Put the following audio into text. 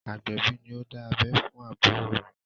Agbẹ̀bí ni ó dá abẹ́ fún àbúrò mi.